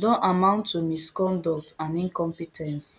don amount to misconduct and incompe ten ce